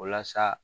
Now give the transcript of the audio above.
Walasa